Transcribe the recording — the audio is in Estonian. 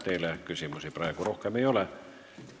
Teile küsimusi rohkem ei ole.